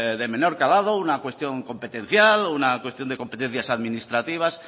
de menor calado una cuestión competencial una cuestión de competencias administrativas